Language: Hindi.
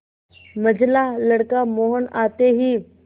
मंझला लड़का मोहन आते ही